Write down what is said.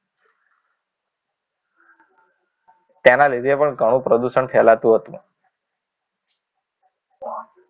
તેના લીધે પણ ઘણું પ્રદુષણ ફેલાતું હતું